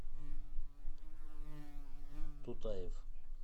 тутаев